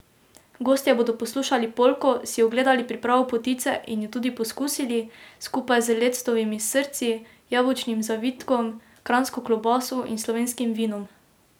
Gostje bodo poslušali polko, si ogledali pripravo potice in jo tudi poskusili, skupaj z lectovimi srci, jabolčnim zavitkom, kranjsko klobaso in slovenskim vinom.